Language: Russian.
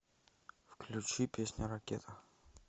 включи песня ракета